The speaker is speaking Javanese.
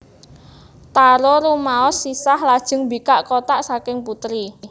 Taro rumaoosh sisah lajeng mbikak kotak saking putri